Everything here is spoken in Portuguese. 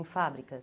Em fábricas?